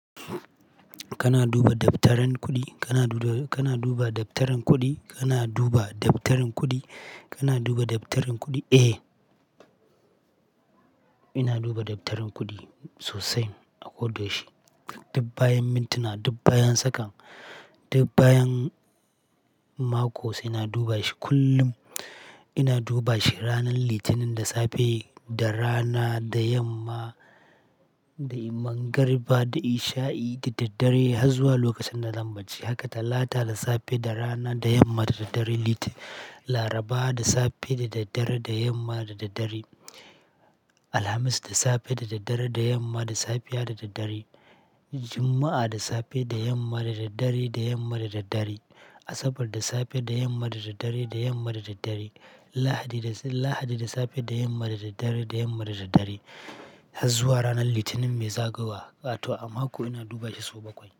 Kana duba dabtarin kuɗi, kana duda kana duba dabtarin kuɗi, kana duba dabtarin kuɗi, kana duba dabtarin kuɗi? Eh, ina duba dabtarin kuɗi sosai a koda yaushi. Dub bayan mintuna, dub bayan sakan, dub bayan mako se. Ina duba shi kullum. Ina duba shi ranar Litinin da safe, da rana, da yamma, dai mangariba, da isha'i, da daddare, haz zuwa lokacin da zan bacci. Haka Talata da safe, da rana, da yamma, da daddare. Litin Laraba da safe, da daddare, da yamma, da daddare. Alhamis da safe, da daddare, da yamma, da safiya, da daddare. Juma'a da safe, da yamma, da daddare, da yamma, da daddare. Asabar da safe, da yamma, da daddare, da yamma, da daddare. Lahadi da safe, da yamma, da daddare, da yamma, da daddare. Harz zuwa ranar Litinin mai zagowa. Wato a mako ina duba shi sau bakwai.